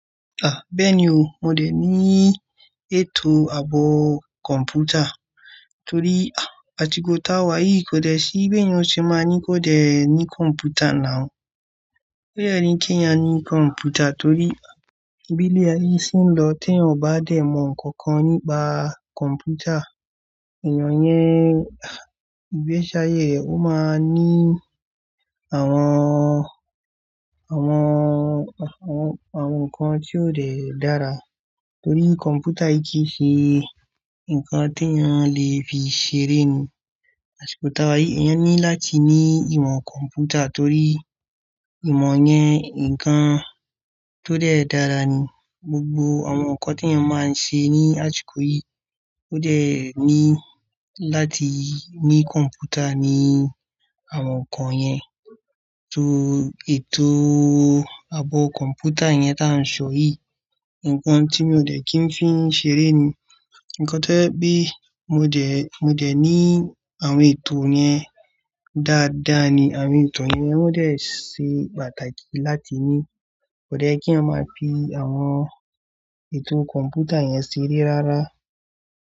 Ah! Bẹ́ẹ̀ni o, mo dẹ̀ ní ètò àbọ̀ kọ̀mpútà torí, ah! Àtíkò táwà yìí kò dẹ̀ sí, bẹ́ẹ̀ ni wọn ṣe máa ní kò dẹ̀ ní kọ̀mpútà nàú. Ó yẹrí kí a ní kọ̀mpútà torí, ah! Bí ilé aye yìí se ń lọ tí ẹeyan ò bá dẹ̀ mọ̀ ǹkankan nípa kọ̀mpútà. Ènìyàn yẹn, ah! Ìgbẹṣi áyẹ̀ re ọ́ máa ní àwọn, àwọn, àwọn, àwọn ǹkan tí ó dẹ̀ dára torí kọ̀mpútà yìí kì í ṣe ǹkan tí ènìyàn lè fi ṣeré ni. Àsíkò táwà yìí, èèyàn ní láti ní ìmọ̀ kọ̀mpútà torí ìmọ̀ yẹn, ǹkan tó dẹ̀ dára ní. Gbogbo àwọn ǹkan tí ènìyàn máa ń ṣe ní àsíkò yìí ò dẹ̀ ní láti ní kọ̀mpútà ní àwọn ǹkan yẹn. Torí ètò àbọ̀ kọ̀mpútà yẹn tá ń sọ yìí, ǹkan tí mi ò dẹ̀ kí ń fi ṣeré ni. Ǹkan jẹ́ pé mo dẹ̀, mo dẹ̀ ní àwọn ètò yẹn dáadáa ni. Àwọn ètò yẹn wọ́n dẹ̀ ṣe pàtàkì láti ní. Kò dẹ̀ ye kí a máa fi àwọn ètò kọ̀mpútà yẹn ṣeré rárá.